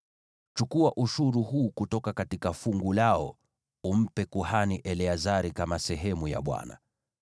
Chukua ushuru huu kutoka fungu lao, umpe kuhani Eleazari kama sehemu ya Bwana .